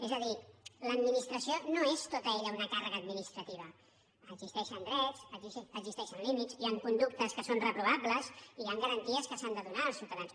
és a dir l’administració no és tota ella una càrrega administrativa existeixen drets existeixen límits hi han conductes que són reprovables i hi han garanties que s’han de donar als ciutadans